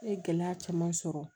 N ye gɛlɛya caman sɔrɔ